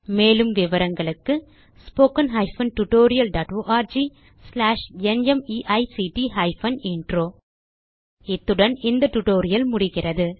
மேலும் விவரங்களுக்கு 1 இத்துடன் இந்த டியூட்டோரியல் முடிகிறது